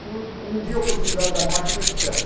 Se um um dia eu precisar da máquina, eu te peço.